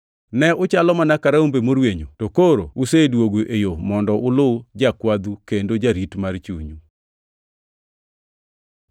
Ne uchalo mana ka rombe morwenyo, + 2:25 \+xt Isa 53:6\+xt* to koro oseduogu e yo mondo ulu Jakwadhu kendo Jarit mar chunyu.